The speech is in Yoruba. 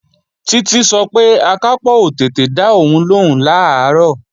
Títí sọ pé Akápò ò tètè dá òun lóhùn làárọ̀